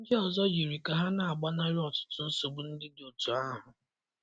Ndị ọzọ yiri ka ha na-agbanarị ọtụtụ nsogbu ndị dị otú ahụ.